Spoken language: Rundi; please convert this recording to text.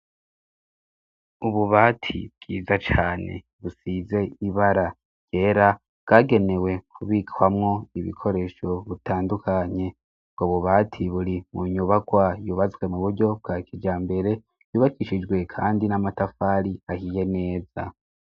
Ububati bwiza cane, busize ibara ryera bwagenewe kubikwamwo ibikoresho butandukanye bgo bubati buri mu nyubakwa yubastwe mu buryo bwa kijambere yubakishijwe kandi n'amatafari ahiye neza.